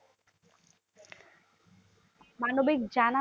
মানবিক জানা